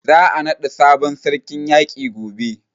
Za a naɗa sabon sarkin yaƙi gobe.